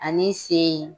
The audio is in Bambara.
Ani sen